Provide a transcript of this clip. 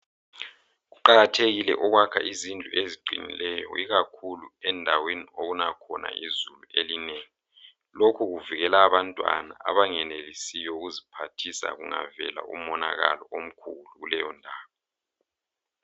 Kuqakathekile ukuyakha izindlu eziqinileyo, ikakhulu endaweni okuna khona izulu elinengi. Lokhu kuvikela abantwana abangayenelisiyo ukuziphathisa kungavela umonakalo omkhulu kuleyo ndawo.